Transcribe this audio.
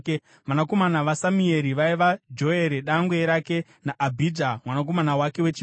Vanakomana vaSamueri vaiva: Joere dangwe rake naAbhija mwanakomana wake wechipiri.